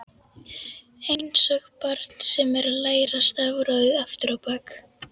Einsog barn sem er að læra stafrófið aftur á bak.